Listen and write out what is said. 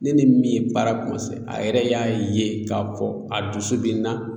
Ne ni min ye baara kɔmanse a yɛrɛ y'a ye k'a fɔ a dusu be n na